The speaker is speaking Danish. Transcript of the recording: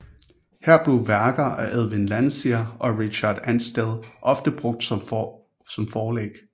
Her blev værker af Edwin Landseer og Richard Ansdell ofte brugt som forlæg